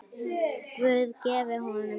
Guð gefi honum góðan byr.